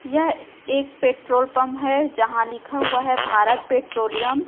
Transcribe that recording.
यह एक petrol pump है। जहां लिखा हुआ है भारत पैट्रोलियम